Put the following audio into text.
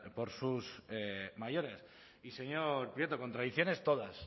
por sus mayores y señor prieto contradicciones todas